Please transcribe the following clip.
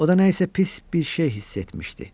O da nəsə pis bir şey hiss etmişdi.